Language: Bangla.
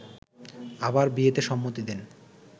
আবার বিয়েতে সম্মতি দেন